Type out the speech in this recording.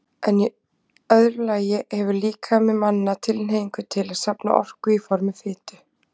En í öðru lagi hefur líkami manna tilhneigingu til að safna orku í formi fitu.